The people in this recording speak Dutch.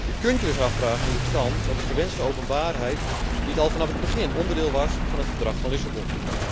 Je kunt je dus afvragen hoe het kan dat de gewenste openbaarheid niet al vanaf het begin onderdeel was van het Verdrag van Lissabon.